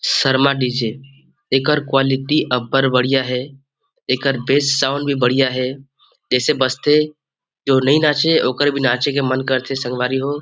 Sharma DJ. एकर quality अबबड़ बढ़िया हे एकर बेस साउंड भी बढ़िया हे जैसे बजथे जो नहीं नाचे ओकर भी नाचे के मन करथे संगवारी हो ।